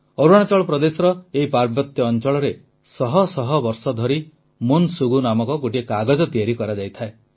ଅରୁଣାଚଳ ପ୍ରଦେଶର ଏହି ପାର୍ବତ୍ୟ ଅଂଚଳରେ ଶହ ଶହ ବର୍ଷ ଧରି ମୋନ୍ ଶୁଗୁ ନାମକ ଗୋଟିଏ କାଗଜ ତିଆରି କରାଯାଇଥାଏ